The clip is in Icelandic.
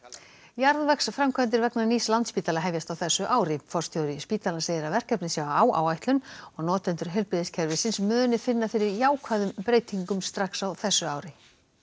jarðvegsframkvæmdir vegna nýs Landspítala hefjast á þessu ári forstjóri spítalans segir að verkefnið sé á áætlun og notendur heilbrigðiskerfisins muni finna fyrir jákvæðum breytingum strax á þessu ári